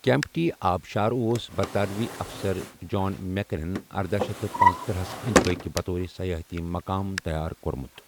کیمپٹی آبٕشار اوس برطانوی افسَر، جان میٚکِنَنن اردہَ شیتھ تہٕ پٔنژتٔرہ ہس اندۍ پكۍ بطور سَیٲحتی مُقام تَیار کوٚرمُت۔